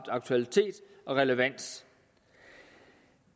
aktualitet og relevans